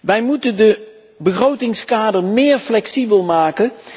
Wij moeten het begrotingskader flexibeler maken.